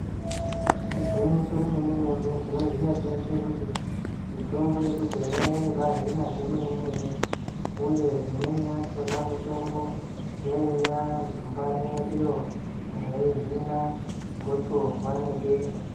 Igwinyiso remene-mene tinoziya teshe kuti mitombo yekudhaya yaibaahina zvemene-mene, uye imweni yachona mitombo yaiya zumbani iro raihina gotsorwa nebesha.